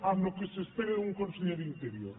amb el que s’espera d’un conseller d’interior